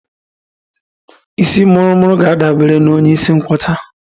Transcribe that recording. Isii muru muru ga-adabara onye isi nkwọcha